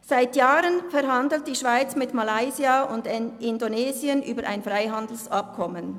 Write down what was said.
– Seit Jahren verhandelt die Schweiz mit Malaysia und Indonesien über ein Freihandelsabkommen.